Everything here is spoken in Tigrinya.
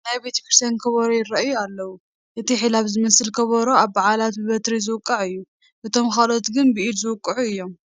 ናይ ቤተ ክርስቲያን ከበሮ ይርአዩ ኣለዉ፡፡ እቲ ሒላብ ዝመስል ከበሮ ኣብ በዓላት ብበትሪ ዝውቃዕ እዩ፡፡ እቶም ካልኦት ግን ብኢድ ዝውቅዑ እዮም፡፡